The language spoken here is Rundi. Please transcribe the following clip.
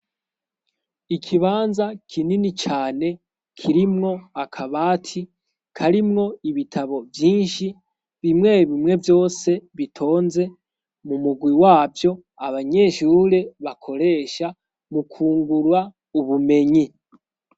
Ikibanza kinini cane kirimwo akabati karimwo ibitabo vyinshi bimwe bimwe vyose bitonze mu mugwi wavyo abanyeshure bakoresha mukungurwa ubumenyi.